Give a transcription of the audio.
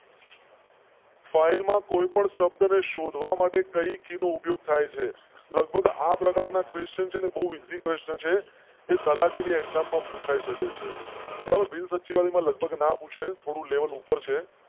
File માં કોઈ પણ શબ્દ ને શોધવા માટે કઈ નો ઉપયોગ થાય છે? લગભગ આ પ્રકાર question ના તલાટી ની exam માં પુછાઈ સકે છે. બિન સચિવાલય માં લગભગ ના પૂછો થોડું લેવલ ઉપર છે.